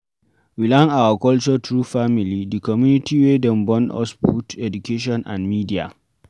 we learn our culture through family, di community wey dem born us put, education and media